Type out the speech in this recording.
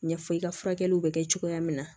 Ɲɛfɔ i ka furakɛliw bɛ kɛ cogoya min na